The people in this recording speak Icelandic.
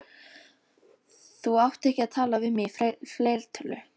Þú átt ekki að tala við mig í fleirtölu.